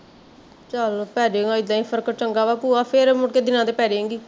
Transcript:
ਚੱਲ ਪੇਜੇਗਾ ਏਦਾਂ ਈ ਫਰਕ ਚੰਗਾ ਵਾ ਭੂਆ ਫੇਰੇ ਮੁੜ ਕੇ ਦਿਨਾ ਤੇ ਪੇਜੇਗੀ